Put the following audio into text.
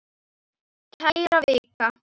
Kæra Vika!